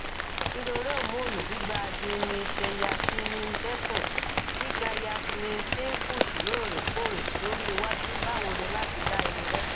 irore homonu gbigba dineetteyasmindekun gbigbayasmin pimples loorekoore lori iwaju bawo ni lati da irore